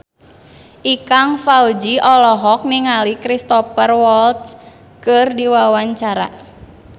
Ikang Fawzi olohok ningali Cristhoper Waltz keur diwawancara